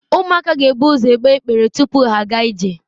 Ụmụaka ga-ebu ụzọ egbe ịgbere tupu ha aga ije.